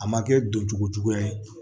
A ma kɛ donjugu juguya ye